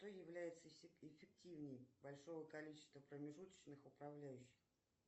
что является эффективней большого количества промежуточных управляющих